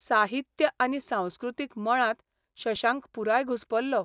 साहित्य आनी सांस्कृतीक मळांत शशांक पुराय घुस्पलो.